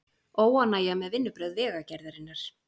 Óánægja með vinnubrögð Vegagerðarinnar